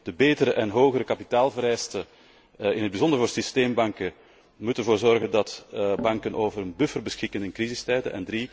Twee, de betere en hogere kapitaalvereisten, in het bijzonder voor systeembanken, moeten ervoor zorgen dat banken over een buffer beschikken in crisistijden.